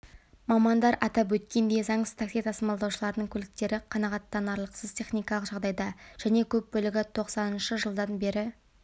мамандар атап өткендей заңсыз такси тасымалдаушыларының көліктері қанағаттанарлықсыз техникалық жағдайда және көп бөлігі тоқсаныншы жылдан бері